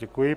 Děkuji.